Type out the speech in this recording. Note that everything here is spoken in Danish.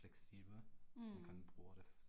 Mh